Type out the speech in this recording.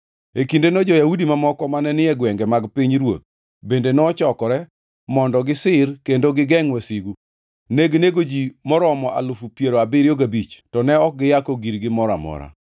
E kindeno jo-Yahudi mamoko mane ni e gwenge mag pinyruoth bende nochokore mondo gisir kendo gigengʼ wasigu. Neginego ji moromo alufu piero abiriyo gabich, to ne ok giyako girgi moro amora.